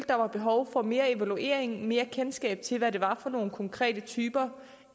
der var behov for mere evaluering mere kendskab til hvad det var for nogle konkrete typer